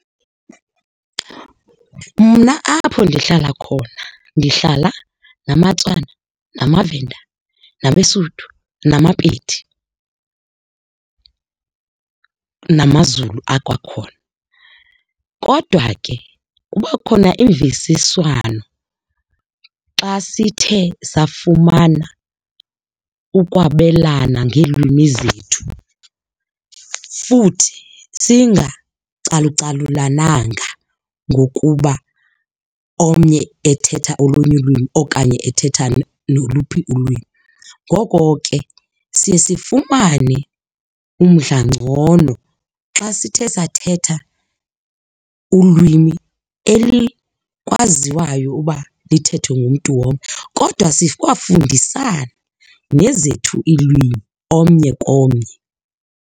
Mna apho ndihlala khona, ndihlala namaTswana namaVenda nabeSotho namaPedi namaZulu akwakhona. Kodwa ke kuba khona imvisiswano xa sithe safumana ukwabelana ngeelwimi zethu futhi singacalucalulananga ngokuba omnye ethetha olunye ulwimi okanye ethetha noluphi ulwimi. Ngoko ke, siye sifumane umdla ngcono xa sithe sathetha ulwimi elikwaziwayo uba lithethwa ngumntu wonke, kodwa sikwafundisana nezethu iilwimi omnye komnye.